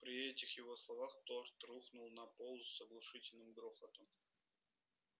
при этих его словах торт рухнул на пол с оглушительным грохотом